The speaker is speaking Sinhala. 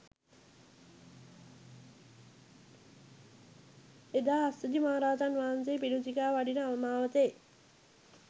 එදා අස්සජි මහරහතන් වහන්සේ පිඬුසිඟා වඩින මාවතේ